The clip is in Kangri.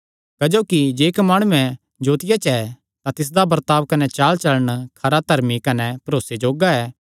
क्जोकि जे इक्क माणुये जोतिया च ऐ तां तिसदा बर्ताब कने चालचलण खरा धर्मी कने भरोसे जोग्गा ऐ